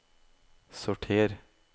sorter